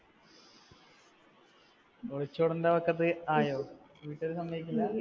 ഒളിച്ചോടണ്ട വക്കത്ത് ആയോ? വീട്ടുകാർ സമ്മതിക്കില്ല?